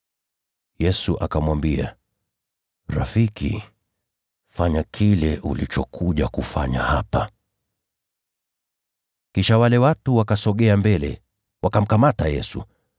Yesu akamwambia, “Rafiki, fanya kile ulichokuja kufanya hapa.” Kisha wale watu wakasogea mbele, wakamkamata Yesu.